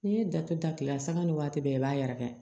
N'i ye datugu da kelen sanga ni waati bɛɛ i b'a yɛrɛkɛ